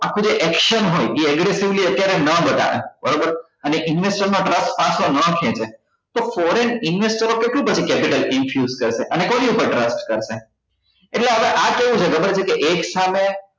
આપડે action હોય એ everythingly અત્યારે નાં બતાવે બરોબર અને investor નો trust પાછો નાં ખેંચે તો foreign investor ઓ કેટલું પછી capital infuse કરશે અને કોની પર trust કરશે એટલે હવે આ કેવું છે ખબર છે કે એક સામે